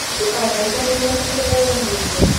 Ndũkanariganĩrwo nĩ kũrĩa uumĩte.